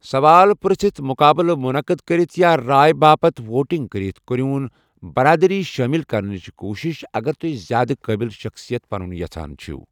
سوالہٕ پر٘ژھِتھ ، مٗقابلہٕ مٗنقد كرِتھ یا راے باپت ووٹِنگ كرِتھ كرِیوُن برادری شٲمِل كرنٕچہِ كوُشِش اگر توہہِ زیادٕ قٲبِل شخصیت بنٗن یژھان چھِو۔